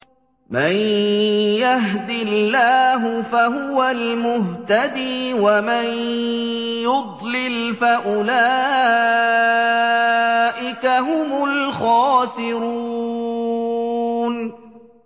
مَن يَهْدِ اللَّهُ فَهُوَ الْمُهْتَدِي ۖ وَمَن يُضْلِلْ فَأُولَٰئِكَ هُمُ الْخَاسِرُونَ